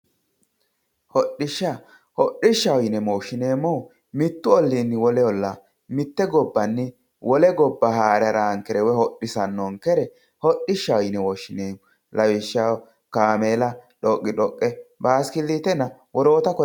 Hodhisha hodhishaho yine woshenemohu mittu olinni wole olla mitte gobbanni wolle goba hara harankere woyi hodhisankere hodhishaho yine woshinemo lawishaho kamella dhoqidhoqe basikikitenna wokitta kore labanoreti